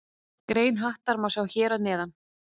Grein Hattar má sjá hér að neðan.